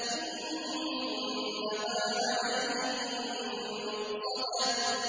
إِنَّهَا عَلَيْهِم مُّؤْصَدَةٌ